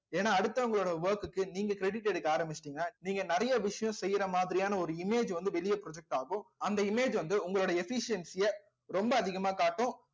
ஏன்னா அடுத்தவங்களோட work க்கு நீங்க credit எடுக்க ஆரம்பிச்சுட்டீங்க நீங்க நிறைய விஷயம் செய்யற மாதிரியான ஒரு image வந்து வெளிய project ஆகும் image வந்து உங்களுடைய efficiency ய ரொம்ப அதிகமா காட்டும்